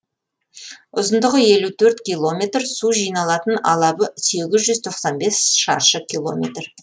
ұзындығы елу төрт километр су жиналатын алабы сегіз жүз тоқсан бес шаршы километр